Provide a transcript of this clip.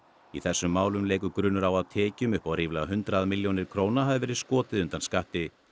í þessum málum leikur grunur á að tekjum upp á ríflega hundrað milljónir króna hafi verið skotið undan skatti